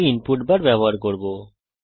আমি input bar ব্যবহার করব